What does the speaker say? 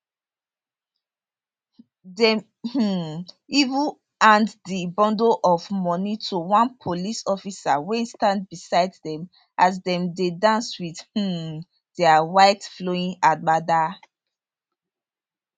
dem um even hand di bundle of money to one police officer wey stand beside dem as dem dey dance wit um dia white flowing agbada